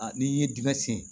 A n'i ye dingɛ sen